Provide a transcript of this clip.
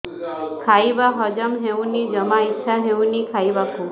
ଖାଇବା ହଜମ ହଉନି ଜମା ଇଛା ହଉନି ଖାଇବାକୁ